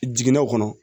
Jiginɛw kɔnɔ